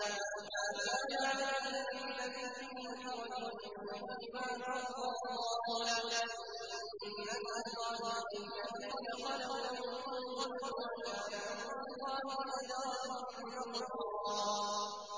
مَّا كَانَ عَلَى النَّبِيِّ مِنْ حَرَجٍ فِيمَا فَرَضَ اللَّهُ لَهُ ۖ سُنَّةَ اللَّهِ فِي الَّذِينَ خَلَوْا مِن قَبْلُ ۚ وَكَانَ أَمْرُ اللَّهِ قَدَرًا مَّقْدُورًا